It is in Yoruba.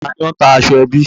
Ta ni ó ta aṣọ ẹbí?